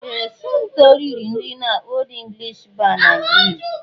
Ee! Somto riri nri n'Old English Bar na Grill.